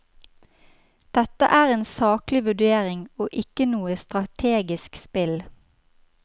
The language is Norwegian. Dette er en saklig vurdering og ikke noe strategisk spill.